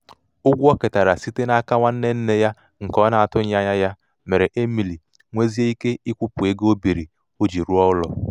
ihe o ketara site n'aka nwanne nne ya nke ọ na-atụghị anya ya mere emily nwezie ike ịkwụpụ ego o biiri o ji rụọ ụlọ.